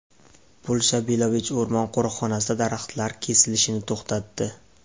Polsha Belovej o‘rmon qo‘riqxonasida daraxtlar kesilishini to‘xtatdi.